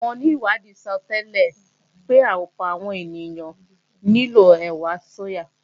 Àwọn onìwádìí sọtẹ́lẹ̀ pé ọ̀pọ̀ àwọn ènìyàn nílò ẹ̀wà sóyà